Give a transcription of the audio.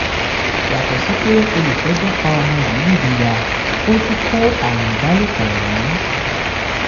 yàtọ̀ sí pé olùjẹ́jọ fa ọmọ yìí nídìí yá ó tún kó àrùn ìbálòpọ̀ ràn án